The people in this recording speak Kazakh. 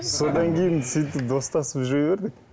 содан кейін сөйтіп достасып жүре бердік